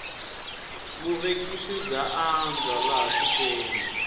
vuvekisi bya andza laha tikweni